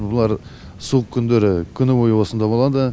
бұлар суық күндері күні бойы осында болады